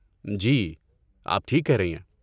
جی، آپ ٹھیک کہہ رہی ہیں۔